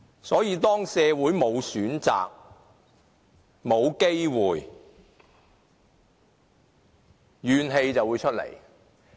所以，當社會沒有選擇，沒有機會，便會生出怨氣。